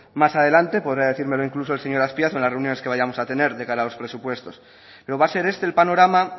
más adelante podrá decírmelo incluso el señor azpiazu en las reuniones que vayamos a tener de cara a los presupuestos pero va a ser este el panorama